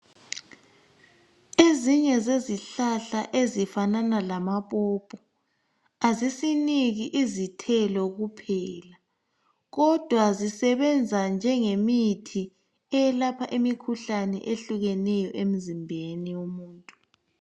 Ezinye zezihlahla ezifanana lamaphopho azisiniki izithelo kuphela kodwa zisebenza njengemithi eyelapha imikhuhlane ehlukeneyo emzimbeni womuntu.